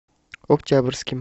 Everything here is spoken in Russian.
октябрьским